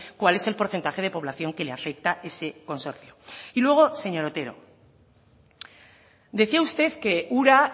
cuál es el porcentaje de población que le afecta a ese consorcio y luego señor otero decía usted que ura